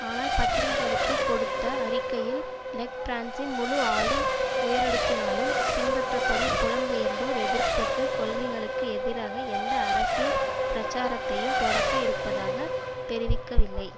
ஆனால் பத்திரிகைகளுக்கு கொடுத்த அறிக்கையில் லெக் பிரான்சின் முழு ஆளும் உயரடுக்கினாலும் பின்பற்றப்படும் புலம்பெயர்ந்தோர் எதிர்ப்புக்கு கொள்கைகளுக்கு எதிராக எந்த அரசியல் பிரச்சாரத்தையும் தொடக்க இருப்பதாக தெரிவிக்கவில்லை